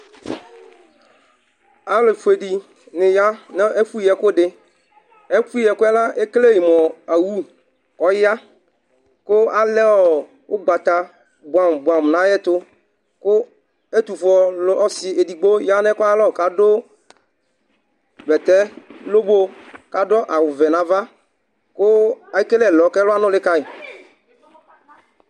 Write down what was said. Alu fue ni, ni ya n'ɛfu yi ɛkudi Ɛfu yi ɛkuɛ la ekele mu awu ɔya ku alɛ ɔɔ ʊgbata buam buamu n'avyɛtu, ku etufue ɔlu ɔsi dɩ edigbo ya n'ɛkualɔ k'adu bɛtɛ lobo k'adu awu ʋɛ n'aʋa ku ekel'ɛlɔ k'ɛlɔ anuli kayi